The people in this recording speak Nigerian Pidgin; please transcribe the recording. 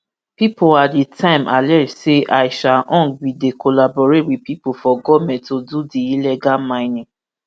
pipo at di time allege say aisha huang bin dey collaborate wit pipo for goment to do di illegal mining